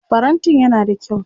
Farantin yana da kyau.